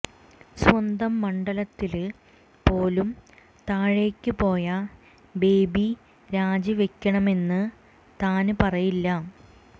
സ്വന്തം മണ്ഡലത്തില് പോലും താഴേക്ക് പോയ ബേബി രാജിവെക്കണമെന്ന് താന് പറയില്ല